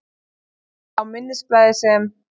Á minnisblaði, sem